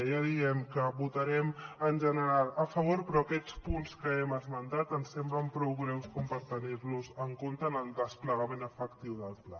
ja diem que hi votarem en general a favor però aquests punts que hem esmentat ens semblen prou greus com per tenir los en compte en el desplegament efectiu del pla